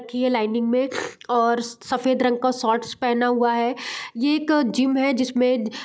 की ये लाइनिंग में और सफ़ेद रंग का शर्ट्स पेहना हुआ है ये एक जिम है जिसमें --